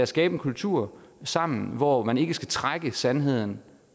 skabe en kultur sammen hvor man ikke skal trække sandheden